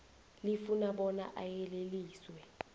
lifuna bona ayeleliswe